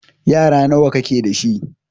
Yara nawa ka ke da shi?